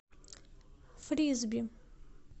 фрисби